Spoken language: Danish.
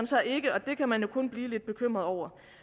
så ikke og det kan man jo blive lidt bekymret over